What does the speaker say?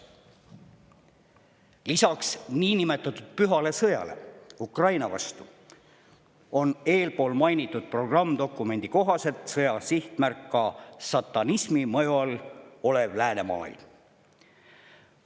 Lisaks niinimetatud pühale sõjale Ukraina vastu on mainitud programmdokumendi kohaselt sõja sihtmärk ka satanismi mõju all olev läänemaailm.